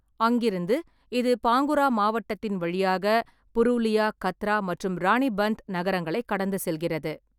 அங்கிருந்து, இது பாங்குரா மாவட்டத்தின் வழியாக புருலியா, கத்ரா மற்றும் ராணிபந்த் நகரங்களைக் கடந்து செல்கிறது.